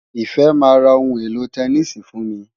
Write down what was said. Ìfẹ́ máa ra ohun èlò tẹníìsì fún mi.